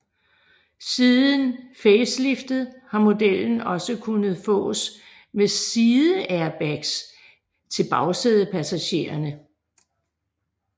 Siden faceliftet har modellen også kunnet fås med sideairbags til bagsædepassagerne